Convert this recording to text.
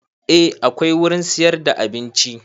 A akwai wurin siyar da abinci